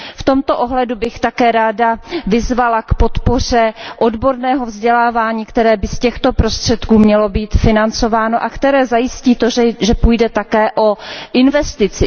V tomto ohledu bych také ráda vyzvala k podpoře odborného vzdělávání, které by z těchto prostředků mělo být financováno a které zajistí, že půjde také o investici.